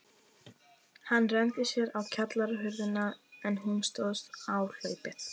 Hann renndi sér á kjallarahurðina, en hún stóðst áhlaupið.